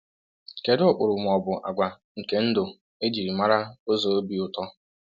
Kedụ ụkpụrụ ma ọ bụ àgwà nke ndụ e ji mara ụzọ obi ụtọ?